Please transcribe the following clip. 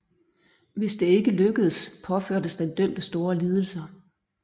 Hvis det ikke lykkedes påførtes den dømte store lidelser